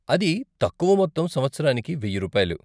అది తక్కువ మొత్తం సంవత్సరానికి వెయ్య రూపాయలు.